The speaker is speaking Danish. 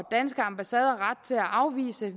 danske ambassader ret til at afvise